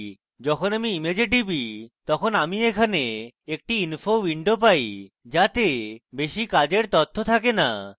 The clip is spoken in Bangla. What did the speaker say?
এবং যখন আমি image টিপি তখন আমি এখানে একটি info window পাই যাতে বেশী কাজের তথ্য থাকে না